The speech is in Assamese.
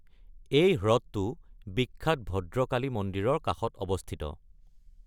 এই হ্ৰদটো বিখ্যাত ভদ্ৰকালী মন্দিৰৰ কাষত অৱস্থিত।